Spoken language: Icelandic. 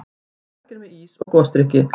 Margir með ís og gosdrykki.